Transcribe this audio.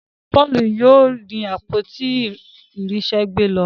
Paul yóò àpótí irinṣẹ gbé ló.